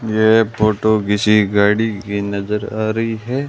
ये फोटो किसी गाड़ी की नजर आ रही है।